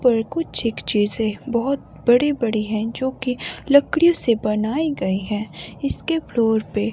पर कुछ एक चीजें बहुत बड़ी-बड़ी हैं जो कि लकड़ियों से बनाई गई है इसके फ्लोर पे--